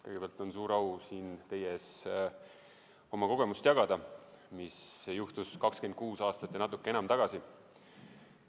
Kõigepealt, on suur au jagada siin teie ees oma kogemust, mis juhtus 26 aastat ja natuke enam tagasi.